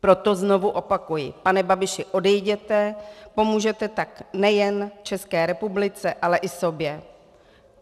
Proto znovu opakuji, pane Babiši, odejděte, pomůžete tak nejen České republice, ale i sobě.